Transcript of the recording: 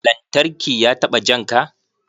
Lantarki ya taɓa janka?